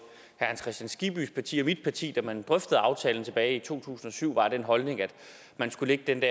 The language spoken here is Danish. hans kristian skibbys parti og mit parti da man drøftede aftalen tilbage i to tusind og syv var af den holdning at man skulle lægge den